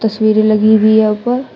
तस्वीरे लगी हुई है ऊपर।